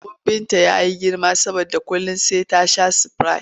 Tumbin Binta ya yi girma saboda kullum sai ta sha sprite.